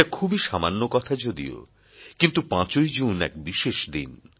এটা খুবই সামান্য কথা যদিও কিন্তু ৫ ই জুন এক বিশেষ দিন